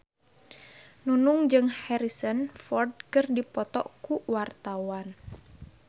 Nunung jeung Harrison Ford keur dipoto ku wartawan